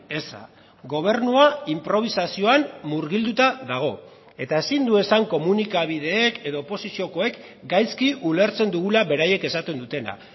eza gobernua inprobisazioan murgilduta dago eta ezin du esan komunikabideek edo oposiziokoek gaizki ulertzen dugula beraiek esaten dutena